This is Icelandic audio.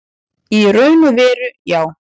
Í raun og veru já.